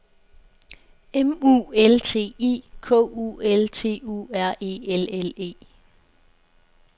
M U L T I K U L T U R E L L E